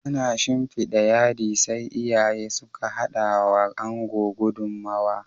Ana shinfida yadi, sai iyaye suke hadawa Ango gudummawa